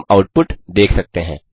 हम आउटपुट देख सकते हैं